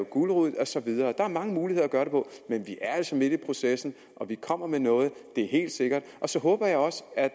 gulerod og så videre der er mange muligheder men vi er altså midt i processen og vi kommer med noget det er helt sikkert så håber jeg også at